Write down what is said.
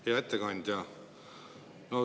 Hea ettekandja!